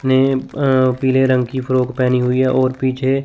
ने अ पीले रंग की फ्रॉक पेहनी हुई है और पीछे--